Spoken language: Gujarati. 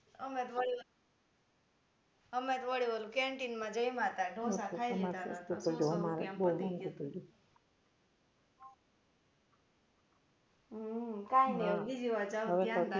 અમે તો વળી અમે તો વળી ઓલુ canteen મા જમ્યા તા ઢોસા ખાઈ લીધા તા કાઈ નઈ હવે બીજી વાર જાસુ તો ધ્યાન રાખીશું